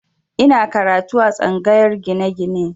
Ina karatu a tsangayar gine-gine